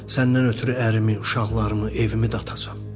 Səndən ötrü ərimi, uşaqlarımı, evimi də atacam.